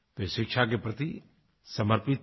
वे शिक्षा के प्रति समर्पित थे